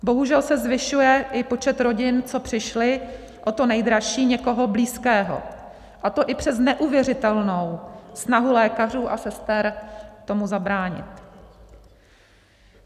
Bohužel se zvyšuje i počet rodin, co přišly o to nejdražší, někoho blízkého, a to i přes neuvěřitelnou snahu lékařů a sester tomu zabránit.